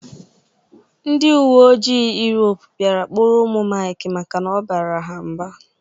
Ndị uweojii Yurop bịara kpụrụ ụmụ Maịk maka na ọ bara ha mba